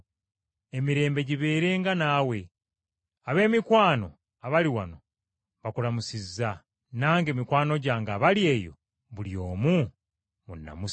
Emirembe gibeerenga naawe. Ab’emikwano abali wano bakulamusizza. Nange, mikwano gyange abali eyo, buli omu munnamusize.